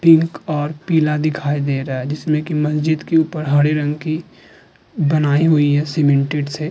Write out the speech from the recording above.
Pink और पीला दिखाई दे रहा है। जिसमें की मस्जिद के ऊपर हरे रंग की बनाई हुई है सीमेंटेड से।